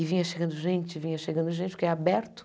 E vinha chegando gente, vinha chegando gente, porque é aberto.